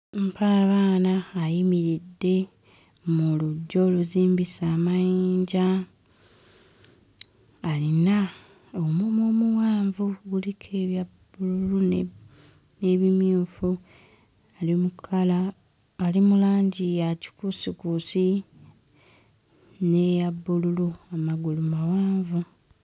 Mpaabaana ayimiridde mu luggya oluzimbise amayinja, ayina omumwa omuwanvu guliko ebya bbululu n'ebimyufu , ali mu kkala ali mu langi ya kikuusikuusi n'eya bbululu amagulu mawanvu.